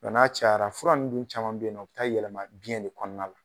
n'a cayala fura nunnu dun caman be yen nɔ, u be taa yɛlɛma biɲɛ de kɔnɔna la.